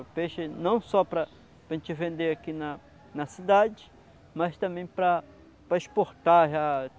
O peixe não só para para a gente vender aqui nana cidade, mas também para para exportar já.